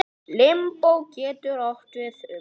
Limbó getur átt við um